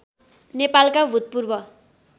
नेपालका भूतपूर्व